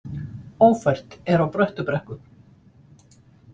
Ófært er á Bröttubrekku